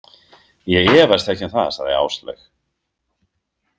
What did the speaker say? Ég efast ekki um það, sagði Áslaug.